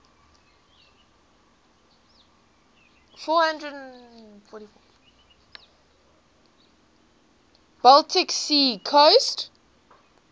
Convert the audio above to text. baltic sea coast